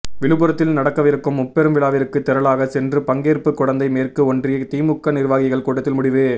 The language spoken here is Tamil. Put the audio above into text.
விழுப்புரத்தில் நடக்கவிருக்கும் முப்பெரும் விழாவிற்கு திரளாக சென்று பங்கேற்பு குடந்தை மேற்கு ஒன்றிய திமுக நிர்வாகிகள் கூட்டத்தில் முடிவு